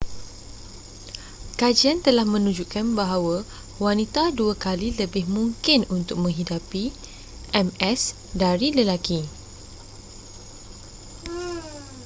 kajian telah menunjukkan bahawa wanita dua kali lebih mungkin untuk menghidapi ms dari lelaki